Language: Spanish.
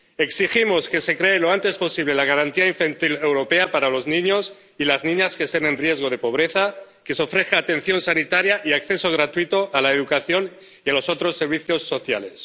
Exigimos que se cree lo antes posible la garantía infantil europea para los niños y las niñas que estén en riesgo de pobreza y que se les ofrezca atención sanitaria y acceso gratuito a la educación y a los otros servicios sociales.